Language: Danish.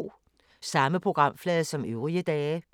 Samme programflade som øvrige dage